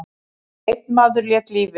Einn maður lét lífið.